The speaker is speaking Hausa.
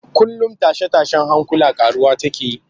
Kullum tashe-tashen hankula ƙaruwa take yi